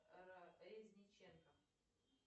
резниченко